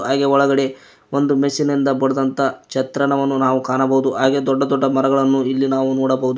ಹಾಗೆ ಒಳಗಡೆ ಒಂದು ಮಷೀನ್ ಇಂದ ಬಡದಂತ ಒಂದು ಚೆತ್ರಣವನ್ನು ನಾವು ಕಾಣಬಹುದು ಹಾಗೆ ದೊಡ್ಡ ದೊಡ್ಡ ಮರಗಳನ್ನು ಎಲ್ಲಿ ನಾವು ನೋಡಬಹುದು.